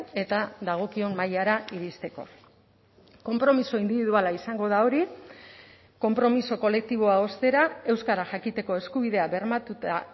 eta dagokion mailara iristeko konpromiso indibiduala izango da hori konpromiso kolektiboa ostera euskara jakiteko eskubidea bermatuta